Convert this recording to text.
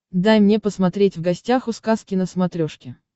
дай мне посмотреть в гостях у сказки на смотрешке